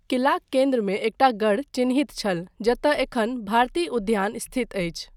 किलाक केन्द्रमे एकटा गढ़ चिन्हित छल जतय एखन भारती उद्यान स्थित अछि।